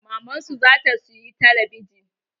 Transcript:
Maman su zata siyi telebijin